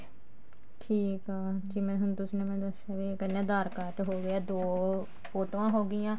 ਠੀਕ ਆ ਹੁਣ ਜਿਵੇਂ ਹੁਣ ਤੁਸੀਂ ਨੇ ਮੈਨੂੰ ਦੱਸਿਆ ਵੀ ਪਹਿਲਾਂ ਆਧਾਰ card ਹੋਗਿਆ ਦੋ ਫੋਟੋਆਂ ਹੋਗੀਆਂ